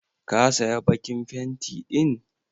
Ka saya bakin fenti din?